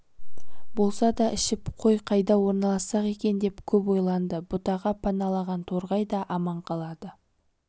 болса да ішіп қой қайда орналастырсақ екен деп көп ойланды бұтаға паналаған торғай да аман қалады